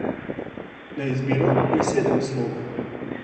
Na izbiro je sedem slogov.